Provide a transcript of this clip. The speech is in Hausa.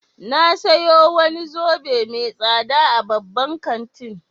Na sayo wani zobe mai tsada a babban kantin